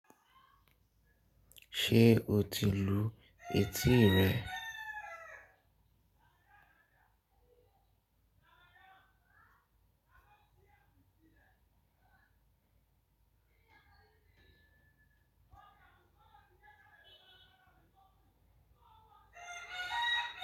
Ṣé o ti lu etí rẹ?